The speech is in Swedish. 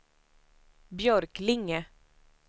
Björklinge